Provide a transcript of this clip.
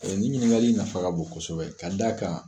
Ni ɲiningali nafa ka bon kosɛbɛ k'a d'a kan